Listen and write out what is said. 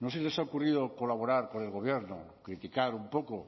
no se les ha ocurrido colaborar con el gobierno criticar un poco